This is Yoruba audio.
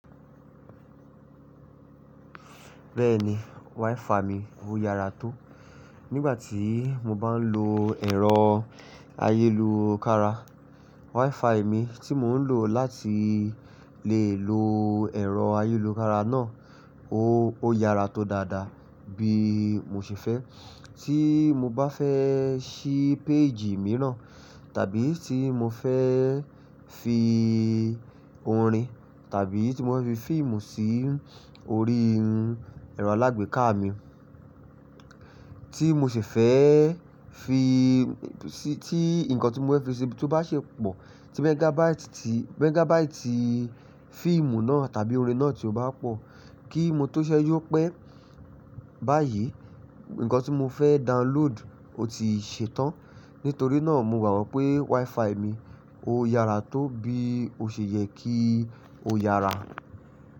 Bẹ́ẹ̀ni, wifi mi ó yára tó. Nígbà tí mo bá n lo ẹ̀rọ ayélukára, wifi mi tí mò ń lò láti lè lo ẹ̀rọ ayélukára náà ó, ó yára tó dáadáa bí mo ṣe fẹ́. Tí mo bá fẹ́ sí péèjì mìíràn tàbí tí mo fẹ́ fi orin tàbí tí mo fẹ́ fi fíìmù sí orí ẹ̀rọ alágbèéká mi, tí mo ṣi fẹ́ fi, sí tí nǹkan tí mo fẹ́ fi tó bá ṣi pọ̀, tí megabaiti ti, megabaiti fíìmù náà tàbí orin náà tí ó bá pọ̀, kí n mo tó ṣẹ́ju pé bá yi, ǹkan tí mo fẹ́ download o ti ṣetán. Nítorí náà mo gbàgbọ́ pé wifi mi ó yára tó bí ó ṣe yẹ kí ó yára.